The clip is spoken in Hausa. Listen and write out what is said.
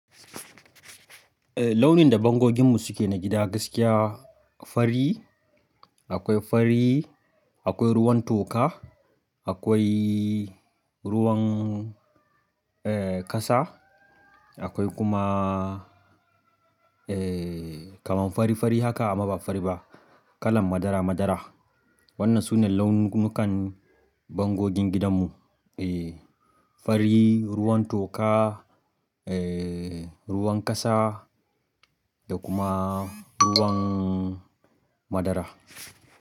Ehh, launin da bangoginmu suke na gida gaskiya fari, akwai fari, akwai ruwan toka, akwaiiy ruwan ehn kasa, akwai kuma eh kaman fari fari haka amma ba fari ba, kalan madara madara. Wannan sune launukan bangogin gidanmu. Eeh, fari, ruwan toka, ehh ruwan kasa da kuma ruwan madara.